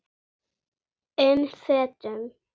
um fötum.